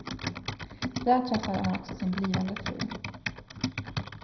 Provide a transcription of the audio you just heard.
Där träffade han också sin blivande fru.